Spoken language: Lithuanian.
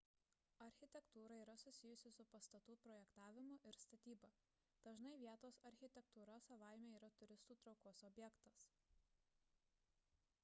architektūra yra susijusi su pastatų projektavimu ir statyba dažnai vietos architektūra savaime yra turistų traukos objektas